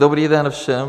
Dobrý den všem.